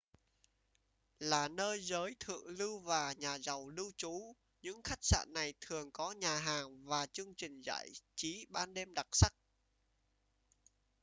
là nơi giới thượng lưu và nhà giàu lưu trú những khách sạn này thường có nhà hàng và chương trình giải trí ban đêm đặc sắc